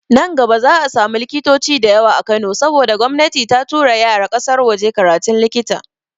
Nan gaba za'a samu likitoci da yawa a Kano saboda gomnati ta tura yara ƙasar waje karatun likita.